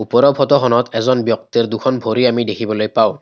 ওপৰৰ ফটো খনত এজন ব্যক্তিৰ দুখন ভৰি আমি দেখিবলৈ পাওঁ।